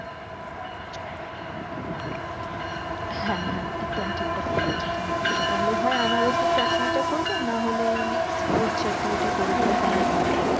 হ্যাঁ হ্যাঁ একদম ঠিক কথা বলেছ তুমি তাহলে হয় আনারসের চাটনি টা করবে না হলে mixed fruit চাটনি টা করবে